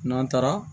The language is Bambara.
N'an taara